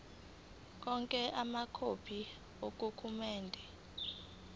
onke amakhophi amadokhumende